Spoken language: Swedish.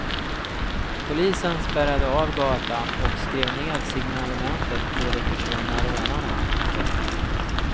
Polisen spärrade av gatan och skrev ned signalementet på de försvunna rånarna. punkt